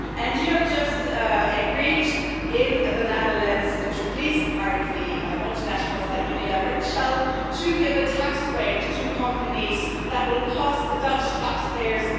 You have just agreed in the Netherlands to please, apparently, multinationals like Unilever and Shell to give a tax break to companies that will cost the Dutch taxpayers